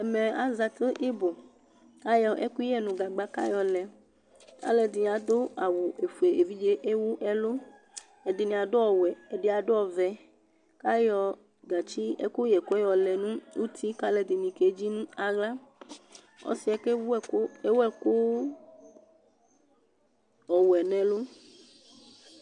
Ɛmɛ ezati ɩbʋ , k'ayɔ ɛkʋyɛ nʋ gagba k'ayɔ lɛ; alʋɛdɩnɩ adʋ awʋ ofue , evidze ewu ɛlʋ Ɛdɩnɩ adʋ ɔwɛ, ɛdɩ adʋ ɔvɛ Ayɔ gatsi ɛkʋyɛkʋ ɛ yɔlɛ n'uti k'alʋɛdɩnɩ kedzi nʋ aɣla Ɔsɩɛ k'ewu ɛkʋ ewuɛkʋ ɔwɛ n'ɛlʋ